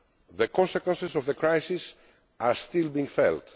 The consequences of the crisis are still being felt.